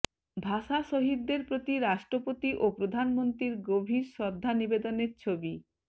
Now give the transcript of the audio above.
ভাষা শহীদদের প্রতি রাষ্ট্রপতি ও প্রধানমন্ত্রীর গভীর শ্রদ্ধা নিবেনের ছবি